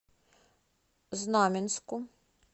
знаменску